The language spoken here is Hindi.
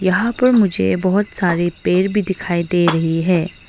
यहां पर मुझे बहुत सारे पेड़ भी दिखाई दे रही है।